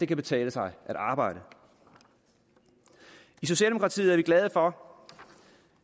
kan betale sig at arbejde i socialdemokratiet er vi glade for